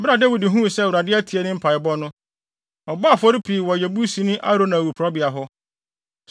Bere a Dawid huu sɛ Awurade atie ne mpaebɔ no, ɔbɔɔ afɔre pii wɔ Yebusini Arauna awiporowbea hɔ.